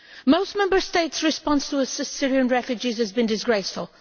Most Member States' response to Syrian refugees has been disgraceful.